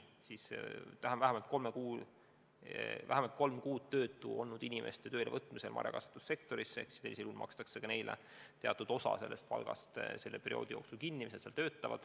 Vähemalt kolm kuud tööta olnud inimeste töölevõtmisel marjakasvatussektorisse makstakse neile teatud osa nende palgast selle perioodi jooksul kinni.